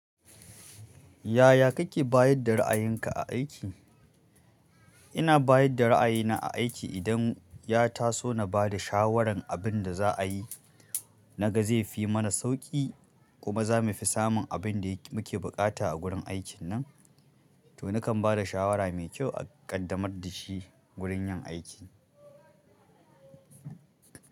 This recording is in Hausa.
Yaya kake bayar da ra'ayinka a aiki? Ina bayar da ra'ayina a aiki idan ya taso na ba da shawarar abin da za a yi, na ga zai fi mana sauƙi kuma za mu fi samun abin da muke buƙata a gurin aikin nan. To nakan ba da shawara mai kyau a ƙaddamar da shi gurin yin aiki.